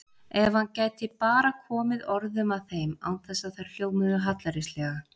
Ef hann gæti bara komið orðum að þeim án þess að þær hljómuðu hallærislega!